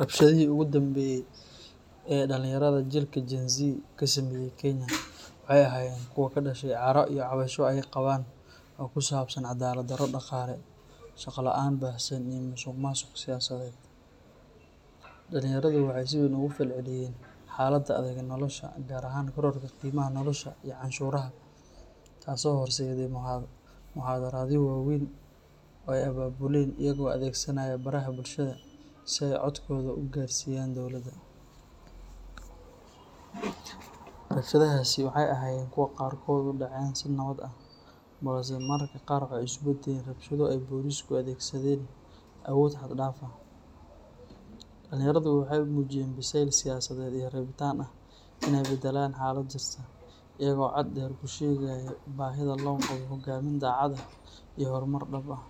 Rabshadihii ugu dambeeyay ee ay dhalinyarada jiilka Gen-Z ka sameeyeen Kenya waxay ahaayeen kuwo ka dhashay caro iyo cabasho ay qabaan oo ku saabsan cadaalad-darro dhaqaale, shaqo la’aan baahsan, iyo musuqmaasuq siyaasadeed. Dhalinyaradu waxay si weyn uga falceliyeen xaaladda adag ee nolosha, gaar ahaan kororka qiimaha nolosha iyo canshuuraha, taasoo horseeday mudaharaadyo waaweyn oo ay abaabuleen iyagoo adeegsanaya baraha bulshada si ay codkooda u gaarsiiyaan dawladda. Rabshadahaasi waxay ahaayeen kuwo qaarkood u dhaceen si nabad ah, balse mararka qaar waxay isu beddeleen rabshado ay booliisku adeegsadeen awood xad dhaaf ah. Dhalinyaradu waxay muujiyeen biseyl siyaasadeed iyo rabitaan ah inay beddelaan xaalada jirta, iyagoo cod dheer ku sheegaya baahida loo qabo hogaamin daacad ah iyo horumar dhab ah.